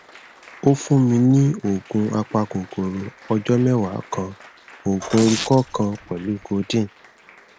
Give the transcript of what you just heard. o fun mi ni oogun apakokoro ọjọ mẹwa kan oogun ikọ kan pẹlu codeine